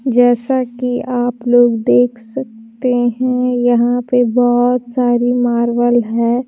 जैसा कि आप लोग देख सकते हैं यहां पे बहुत सारी मार्बल है।